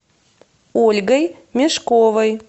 ольгой мешковой